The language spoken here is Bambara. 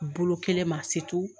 Bolo kelen ma se